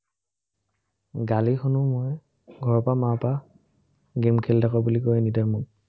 গালি শুনো মই, ঘৰৰপৰা মাৰপৰা, game খেলি থাক বুলি কয়, anytime মোক